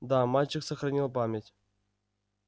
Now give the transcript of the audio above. да мальчик сохранил память